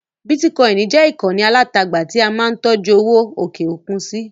Bítíkọinì jẹ́ ìkànnì alátagbà tí a máa ń tọ́jú owó òkè-òkun sí.